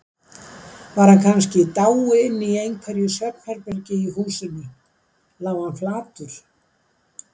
Var hann kannski í dái inni í einhverju svefnherbergi í húsinu, lá hann flatur.